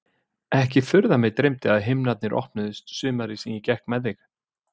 Ekki er furða að mig dreymdi að himnarnir opnuðust sumarið sem ég gekk með þig.